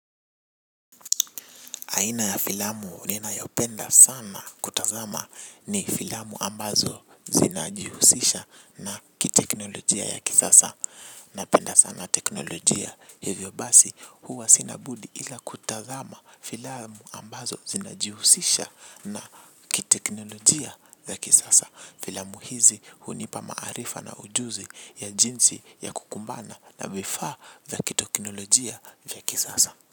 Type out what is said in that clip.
Aina ya filamu ninayopenda sana kutazama ni filamu ambazo zinajihusisha na kiteknolojia ya kisasa. Na penda sana teknolojia hivyobasi huwa sinabudi ila kutazama filamu ambazo zinajihusisha na kiteknolojia ya kisasa. Filamu hizi hunipa maarifa na ujuzi ya jinsi ya kukumbana na vifaa vya kiteknolojia ya kisasa.